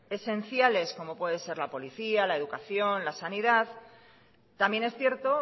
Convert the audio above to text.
esenciales como puede ser la policía la educación la sanidad también es cierto